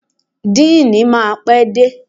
Deanii máa pé dé.